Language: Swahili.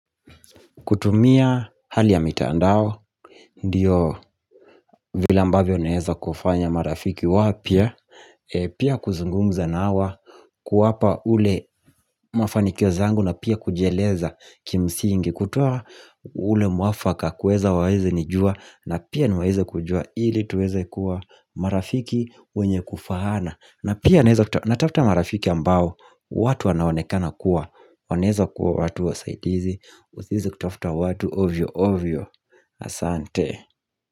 Kutumia hali ya mitandao Ndiyo vile ambavyo naeza kufanya marafiki wapya Pia kuzungumza na wa kuwapa ule mafanikio zangu na pia kujieleza kimsingi kutoa ule mwafaka kueza waeze nijua na pia niwaeze kujua ili tuweze kuwa marafiki wenye kufahana na pia naeza natafta marafiki ambao watu wanaonekana kuwa waneza kuwa watu wa saidizi Uzizi kutofta watu ovyo ovyo Asante.